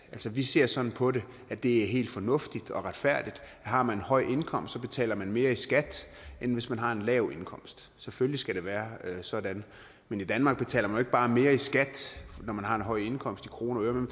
vi ser sådan på det at det er helt fornuftigt og retfærdigt at har man en høj indkomst betaler man mere i skat end hvis man har en lav indkomst selvfølgelig skal det være sådan men i danmark betaler man bare mere i skat når man har en høj indkomst i kroner og øre man